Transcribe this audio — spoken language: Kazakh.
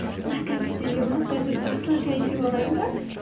мына кәмпитті жеп алып қазір жақсылап шәй ішіп алайын ба